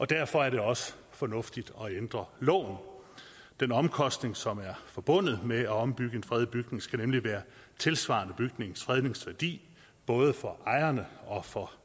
derfor er det også fornuftigt at ændre loven den omkostning som er forbundet med at ombygge en fredet bygning skal nemlig være tilsvarende bygningens fredningsværdi både for ejerne og for